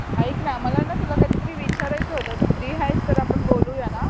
ऐक ना मला ना तुला काहीतरी विचारायचं होतं तू फ्री आहेस तर आपण बोलूया ना.